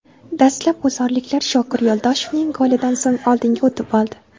Dastlab g‘uzorliklar Shokir Yo‘ldoshevning golidan so‘ng oldinga o‘tib oldi.